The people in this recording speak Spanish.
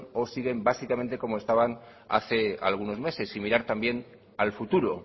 o siguen básicamente como estaban hace algunos meses y mirar también al futuro